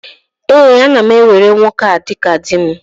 Ee, ana m ewere nwoke a dịka di m.